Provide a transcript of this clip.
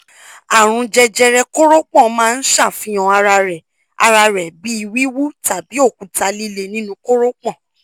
àrùn jẹjẹrẹ koropon maa n ṣafihan ara rẹ ara rẹ bi wiwu tabi okuta lile ninu koropon